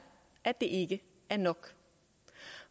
at det ikke er nok